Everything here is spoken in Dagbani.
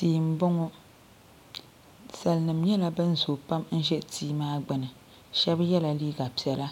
Tia m boŋɔ salinima nyɛla ban zoo pam be tia maa gbini sheba yela liiga piɛla